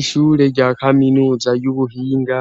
ishure rya kaminuza y'ubuhinga